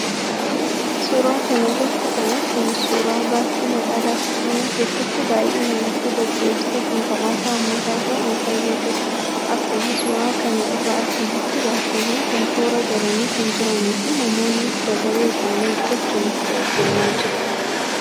Suuraa kana irratti kan arginu suuraa baasii magaalaa Finfinnee keessatti baay'inaan akka deddeebisa konkolaataa uummataa ta'uun fayyadudha. Akkuma suuraa kana irraa arginutti, baasiiwwan kun toora galanii kan jiranii fi namoonnis dabaree isaanii eeggachuun itti ol seenaa jiru.